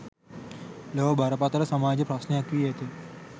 ලොව බරපතළ සමාජ ප්‍රශ්නයක් වී ඇත